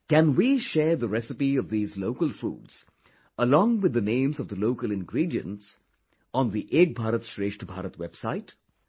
Can we share the recipe of these local foods along with the names of the local ingredients, on the 'Ek Bharat Shrestha Bharat' website